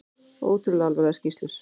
Ótrúlega alvarlegar skýrslur